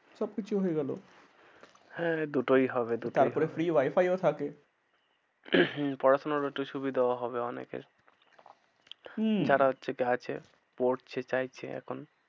সবকিছু হয়ে গেলো হ্যাঁ দুটোই হবে দুটোই হবে তারপরে free wi-fi ও থাকে। পড়াশোনার একটু সুবিধাও হবে অনেকের। হম পড়ছে চাইছে এখন।